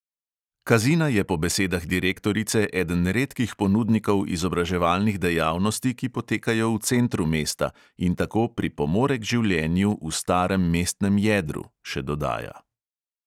Kazina je po besedah direktorice eden redkih ponudnikov izobraževalnih dejavnosti, ki potekajo v centru mesta in tako "pripomore k življenju v starem mestnem jedru", še dodaja.